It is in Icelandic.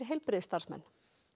heilbrigðisstarfsmenn